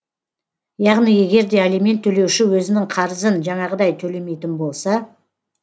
яғни егер де алимент төлеуші өзінің қарызын жаңағыдай төлемейтін болса